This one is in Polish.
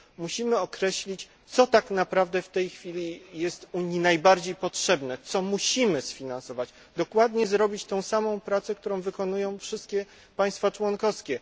Musimy określić, co tak naprawdę jest w tej chwili Unii najbardziej potrzebne, co musimy sfinansować, zrobić dokładnie tę samą pracę, którą wykonują wszystkie państwa członkowskie.